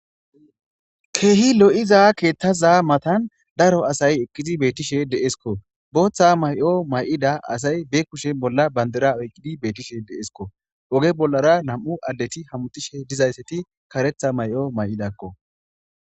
Keehi lo'iza keettaza matan daro asay ekkizi beettishe deeskko booththa may'o may'ida asay beekkushe bolla bandera oyqqidi beettishe deesko oge bollara nam'u addeti hamutishe dizaysseti karetha may'o may'idakko